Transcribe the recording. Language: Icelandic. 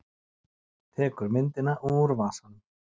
Tekur myndina úr vasanum.